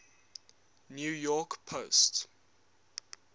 new york post